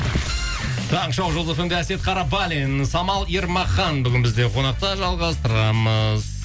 таңғы шоу жұлдыз фм де әсет қарабалин самал ермахан бүгін бізде қонақта жалғастырамыз